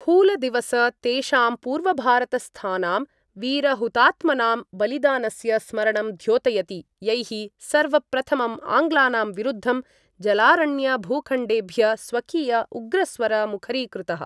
हूलदिवस तेषां पूर्वभारतस्थानां वीरहुतात्मनां बलिदानस्य स्मरणं द्योतयति यैः सर्वप्रथमं आङ्ग्लानां विरूद्धं जलारण्यभूखण्डेभ्य स्वकीय उग्रस्वर मुखरीकृतः।